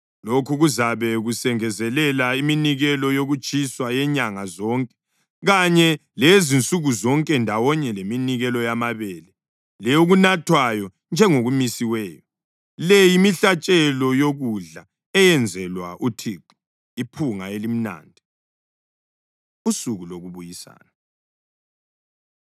Lokhu kuzabe kusengezelela iminikelo yokutshiswa yenyanga zonke kanye leyezinsuku zonke ndawonye leminikelo yamabele leyokunathwayo njengokumisiweyo. Le yimihlatshelo yokudla eyenzelwa uThixo, iphunga elimnandi.’ ” Usuku Lokubuyisana